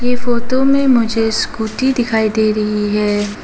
Photo में मुझे scooty दिखाई दे रही है।